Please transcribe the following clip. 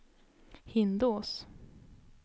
Hindås